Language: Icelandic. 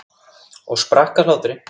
Og sprakk af hlátri.